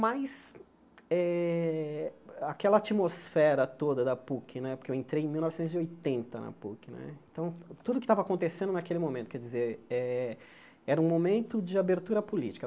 Mas eh aquela atmosfera toda da Puc né, porque eu entrei em mil novecentos e oitenta na Puc né, então tudo que estava acontecendo naquele momento quer dizer eh era um momento de abertura política.